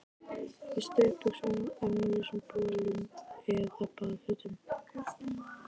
Í stuttbuxum og ermalausum bolum eða baðfötum.